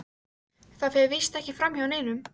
Það fer víst ekki framhjá neinum.